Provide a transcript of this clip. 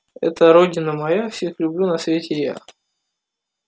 это родина моя всех люблю на свете я